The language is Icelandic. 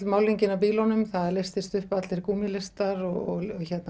málningin af bílunum það leystist upp allir gúmmílistar og